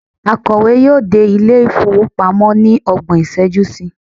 akowe yíò dé ilé ifowopamọ ni ọgbọn iṣẹju sí